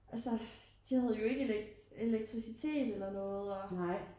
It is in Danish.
Altså de havde jo ikke elektricitet eller noget